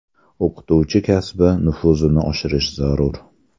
O‘qituvchi kasbi nufuzini oshirish zarur.